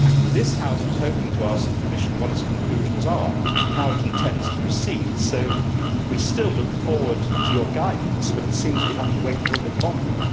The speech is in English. This House was hoping to ask the Commission what its conclusions are and how it intends to proceed, and we still look forward to your guidance, but it seems we have to wait a little bit longer.